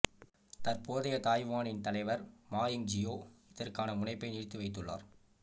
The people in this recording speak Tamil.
தற்போதைய தாய்வானின் தலைவர் மா யிங்ஜியோ இதற்கான முனைப்பை நிறுத்தி வைத்துள்ளார்